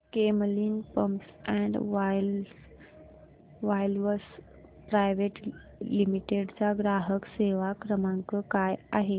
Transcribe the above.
Camlin pumps and valves private limited चा ग्राहक सेवा क्रमांक काय आहे